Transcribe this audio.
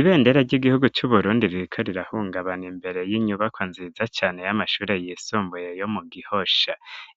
Ibendera ry'igihugu c'uburundi riko rirahungabana imbere y'inyubako nziza cane y'amashure yisumbuye yo mu gihosha,